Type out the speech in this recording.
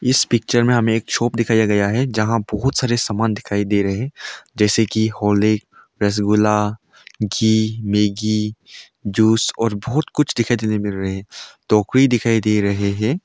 इस पिक्चर में हमें एक शॉप दिखाया गया है जहां बहुत सारे सामान दिखाई दे रहे हैं जैसे कि हाली रसगुल्ला घी मेगी जूस और बहोत कुछ दिखाई देने मिल रहे है टोकरी दिखाई दे रहे हैं।